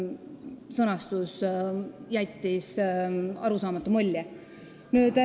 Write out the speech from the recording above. Sõnastus jättis arusaamatu mulje.